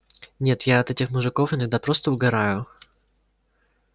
нет я от этих мужиков иногда просто угораю